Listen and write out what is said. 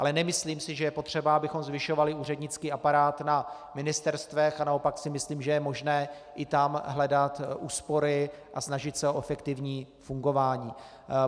Ale nemyslím si, že je potřeba, abychom zvyšovali úřednický aparát na ministerstvech, a naopak si myslím, že je možné i tam hledat úspory a snažit se o efektivní fungování.